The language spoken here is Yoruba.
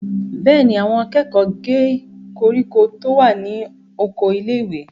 Bẹ́ẹ̀ ni, àwọn akẹ́kọ̀ọ́ gé koríko tó wà ní oko ilé-ìwé.